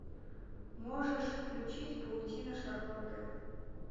можешь включить паутина шарлотты